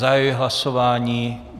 Zahajuji hlasování.